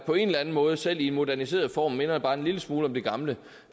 på en eller anden måde selv i en moderniseret form minder bare en lille smule om det gamle